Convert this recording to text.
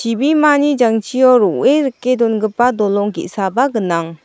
ibimani jangchio ro·e rike dongipa dolong ge·saba gnang.